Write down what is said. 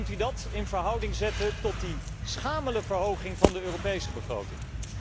Kunt u dat in verhouding zetten tot die schamele verhoging van de Europese begroting?